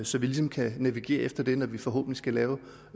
så vi ligesom kan navigere efter det når vi forhåbentlig skal lave